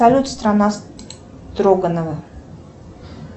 салют страна строганова